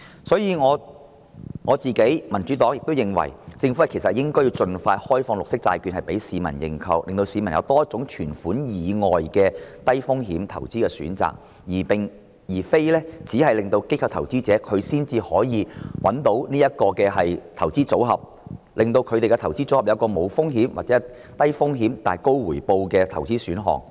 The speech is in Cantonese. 所以，我和民主黨均認為，政府應該盡快開放綠色債券供市民認購，令市民有多一種在存款以外的低風險投資選擇，而並非只有機構投資者才可以選擇這個投資組合，令市民的投資組合可有一個無風險或低風險但高回報的投資選項。